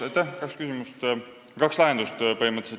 Siin on põhimõtteliselt kaks lahendust.